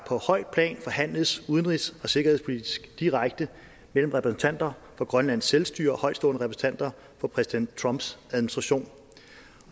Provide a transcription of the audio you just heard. højt plan forhandles udenrigs og sikkerhedspolitisk direkte mellem repræsentanter for grønlands selvstyre og højtstående repræsentanter for præsident trumps administration